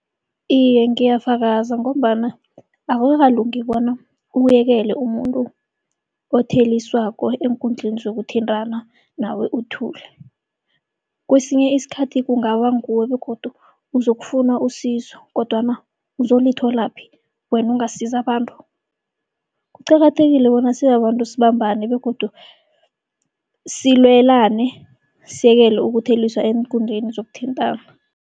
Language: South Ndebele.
Iye, ngiyafakaza ngombana akukalungi bona ubuyekele umuntu otheliswako eenkundleni zokuthintana nawe uthule. Kwesinye isikhathi kungaba nguwe begodu uzokufuna usizo, kodwana uzolitholaphi wena ungasizi abantu. Kuqakathekile bona sibabantu sibambane begodu silwelane siyekele ukutheliswa eenkundleni zokuthintana.